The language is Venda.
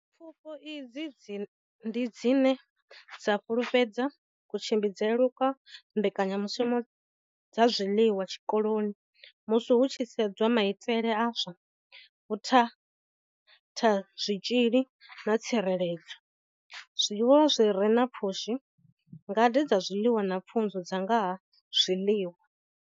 Pfufho idzi ndi dzine dza fhululedza kutshimbidzelwe kwa mbekanyamushumo dza zwiḽiwa zwikoloni musi hu tshi sedzwa maitele a zwa vhuthathazwitzhili na tsireledzo, zwiḽiwa zwi re na pfushi, ngade dza zwiḽiwa na pfunzo dza nga ha zwiḽiwa.